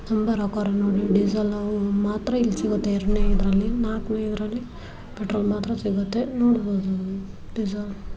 ತುಂಬಾ ರೋಕಾರ್ ನೋಡ್ಲಿ ಡೀಸೆಲ್ ಮಾತ್ರ ಸಿಗ್ಗುತ್ತೆ ಎರಡನೇ ಇದರಲ್ಲಿ ನಾಲ್ಕನೇ ಇದರಲ್ಲಿ ನಾಲ್ಕನೇ ಇದರಲ್ಲಿ ಪೆಟ್ರೋಲ್ ಮಾತ್ರ ಸಿಗತ್ತೆ ನೋಡಬೌದು ಡೀಸೆಲ್ --